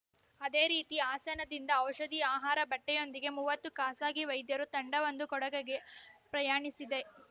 ಅದೇ ರೀತಿ ಹಾಸನದಿಂದ ಔಷಧಿ ಆಹಾರ ಬಟ್ಟೆಯೊಂದಿಗೆ ಮೂವತ್ತು ಖಾಸಗಿ ವೈದ್ಯರ ತಂಡವೊಂದು ಕೊಡಗಗೆ ಪ್ರಯಾಣಿಸಿದೆ